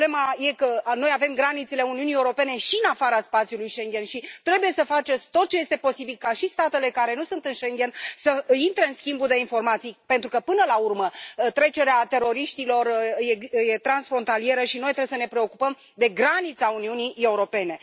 Problema e că noi avem granițele Uniunii Europene și în afara spațiului Schengen și trebuie să faceți tot ce este posibil ca și statele care nu sunt în Schengen să intre în schimbul de informații, pentru că, până la urmă, trecerea teroriștilor e transfrontalieră și noi trebuie să ne preocupăm de granița Uniunii Europene.